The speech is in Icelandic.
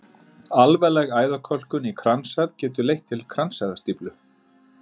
Alvarleg æðakölkun í kransæð getur leitt til kransæðastíflu.